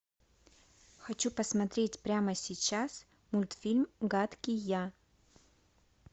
хочу посмотреть прямо сейчас мультфильм гадкий я